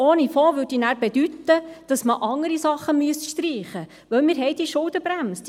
Ohne Fonds würde dann bedeuten, dass man andere Sachen streichen müsste, weil wir diese Schuldenbremse haben.